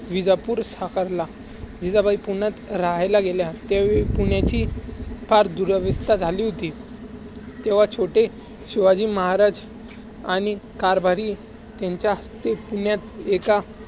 विजापुर साकारला. जिजाबाई पुण्यात रहायला गेल्या, त्यावेळी पुण्याची फार दूराव्यवस्था झाली होती. तेव्हा छोटे शिवाजी महाराज आणि कारभारी ह्याच्या हस्ते एका